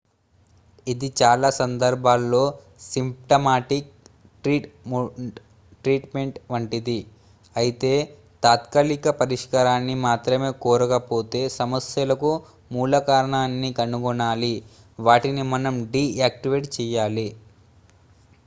ఇది చాలా సందర్భాల్లో సింప్టమాటిక్ ట్రీట్ మెంట్ వంటిది అయితే తాత్కాలిక పరిష్కారాన్ని మాత్రమే కోరకపోతే సమస్యలకు మూలకారణాన్ని కనుగొనాలి వాటిని మనం డీ యాక్టివేట్ చేయాలి